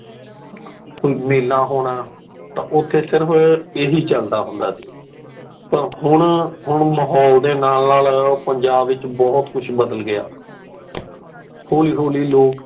ਕੋਈ ਮੇਲਾ ਹੋਣਾ ਤਾ ਉੱਤੇ ਸਿਰਫ ਇਹੀ ਚੱਲਦਾ ਹੁੰਦਾ ਸੀ ਪਰ ਹੁਣ, ਹੁਣ ਮਹੌਲ ਦੇ ਨਾਲ ਨਾਲ ਪੰਜਾਬ ਵਿੱਚ ਬਹੁਤ ਕੁੱਜ ਬਦਲ ਗਿਆ। ਹੋਲੀ ਹੋਲੀ ਲੋਕ